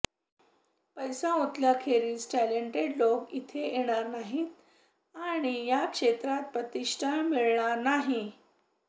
पैसा ओतल्याखेरीज टॅलेंटेड लोक इथे येणार नाहीत आणि या क्षेत्राला प्रतिष्ठा मिळणार नाही